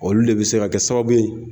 Olu le be se kɛ sababu ye